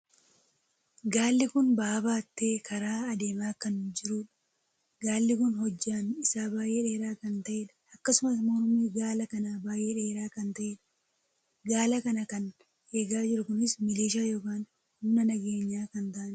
Gaalli kun ba'aa baatee karaa adeemaa kan jiruudha. gaalli kun hojjaan isaa baay'ee dheeraa kan taheedha. akkasumas mormii gaala kanaa baay'ee dheeraa kan taheedha. gaala kana kan eegaa jiru kun miliishaa ykn humna nageenya kan taa'aniidha.